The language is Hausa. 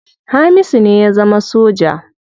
Hamisu ne ya zama soja.